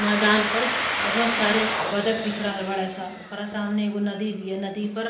मैदान पर बहोत सारे बदख दिख रहल बाड़े स। ओकरा सामने एगो नदी बिया। नदी पर --